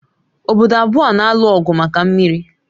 Obodo abụọ a na-alụ ọgụ maka mmiri